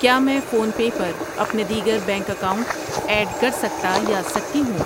کیا میں PhonePe پر اپنے دیگر بینک اکاؤنٹ ایڈ کر سکتا یا سکتی ہوں؟